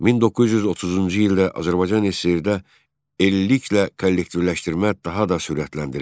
1930-cu ildə Azərbaycan SSRİ-də illiklə kollektivləşdirmə daha da sürətləndirildi.